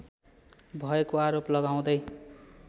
भएको आरोप लगाउँदै